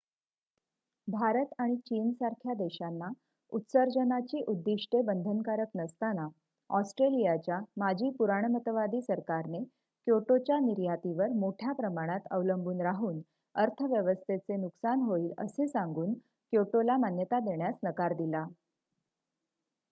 भारत आणि चीनसारख्या देशांना उत्सर्जनाची उद्दिष्ट्ये बंधनकारक नसताना ऑस्ट्रेलियाच्या माजी पुराणमतवादी सरकारने क्योटोच्या निर्यातीवर मोठ्या प्रमाणात अवलंबून राहून अर्थव्यवस्थेचे नुकसान होईल असे सांगून क्योटोला मान्यता देण्यास नकार दिला